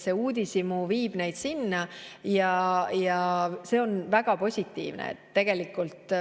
Uudishimu viib neid sinna ja see on väga positiivne.